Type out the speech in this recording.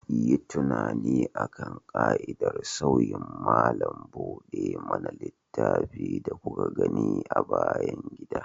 Yi tunani akan ƙa'idar sauyin malam buɗe mana littafi da kuka gani a bayan gida.